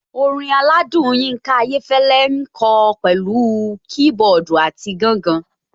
Orin aládùn Yinka Ayéfẹ́lẹ́ ń kọ pẹ̀lú kiboodu àti gangan.